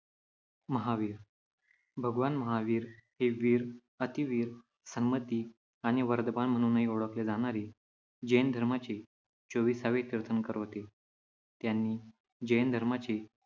महावीर. भगवान महावीर हे वीर, अतिवीर, सन्मति आणि वर्धमान म्हणूनही ओळखले जाणारे, जैन धर्माचे चोवीसावे तीर्थंकर होते. त्यांनी जैन धर्माचे